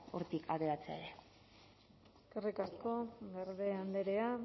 hortik ateratzea ere eskerrik asko garde andrea